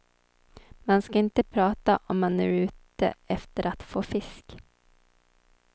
Man ska inte prata, om man är ute efter att få fisk.